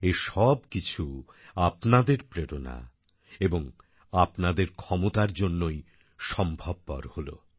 এই সবকিছু আপনাদের প্রেরণা এবং আপনাদের ক্ষমতার জন্যেই সম্ভবপর হলো